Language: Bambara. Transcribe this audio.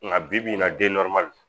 Nka bibi in na